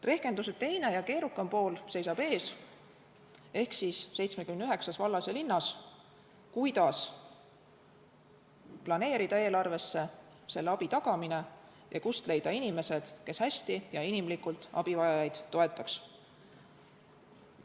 Rehkenduse teine ja keerukam pool seisab ees 79 vallas ja linnas: kuidas planeerida eelarvesse selle abi tagamine ja kust leida inimesed, kes hästi ja inimlikult abivajajaid toetaks?